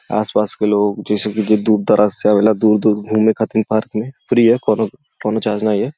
आस-पास के लोग जैसे कि जे दूर दरार से आवेला दूर-दूर घूमे खातिर पार्क में फ्री है कोनो कोनो चार्ज नाही है।